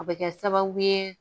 O bɛ kɛ sababu ye